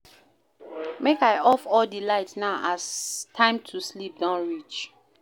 Make I off all di light now as time to sleep don reach.